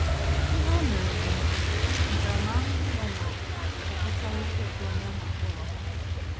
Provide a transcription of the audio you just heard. Ihe o mere bụ mpụ, ntaramahụhụ ya na - abụkarịkwa ịtụ onye ahụ mkpọrọ.